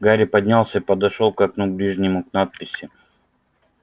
гарри поднялся и подошёл к окну ближнему к надписи на стене